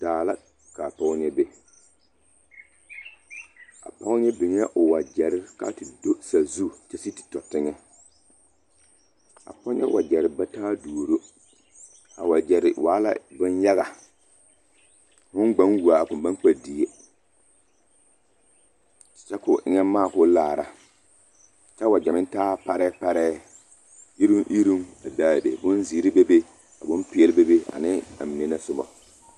Daa la ka pɔge ŋa be a pɔge ŋa biŋee o wagyare ka a te do sazu kyɛ sigi te tɔ teŋɛ a pɔge ŋa wagyare ba taa duoro a wagyare waa la boŋyaga foo gba wuo a koŋ baŋ kpɛ die kyɛ ka o eŋɛ maa ka o kaara kyɛ a wagya meŋ taa parɛɛ parɛɛ iruŋ iruŋ a be a be bonzeere bebe ka bompeɛle bebe ane amine na sobɔ.